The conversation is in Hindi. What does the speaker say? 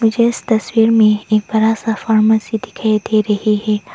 मुझे इस तस्वीर में एक बड़ा सा फार्मेसी दिखाई दे रही है।